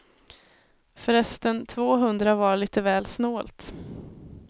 Förresten, tvåhundra var lite väl snålt.